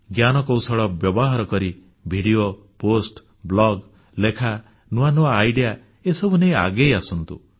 ଜ୍ଞାନକୌଶଳ ବ୍ୟବହାର କରି ଭିଡିଓ ପୋଷ୍ଟ ବ୍ଲଗ ଲେଖା ନୂଆ ନୂଆ କଳ୍ପନା ବା ଆଇଡିଇଏ ଏସବୁ ନେଇ ଆଗେଇ ଆସନ୍ତୁ